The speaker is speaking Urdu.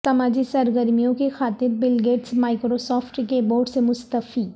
سماجی سرگرمیوں کی خاطر بل گیٹس مائیکروسافٹ کے بورڈ سے مستعفی